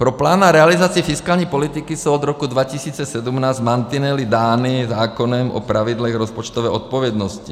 Pro plán a realizaci fiskální politiky jsou od roku 2017 mantinely dány zákonem o pravidlech rozpočtové odpovědnosti.